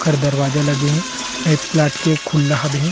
ओकर दरवाजा लगे हे एक प्लाट के खुल्ला हबे हे।